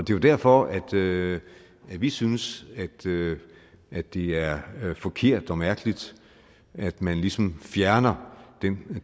det er derfor derfor at vi synes at det er forkert og mærkeligt at man ligesom fjerner den